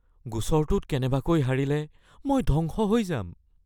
গোচৰটোত কেনেবাকৈ হাৰিলে মই ধ্বংস হৈ যাম